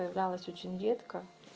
казалось очень редко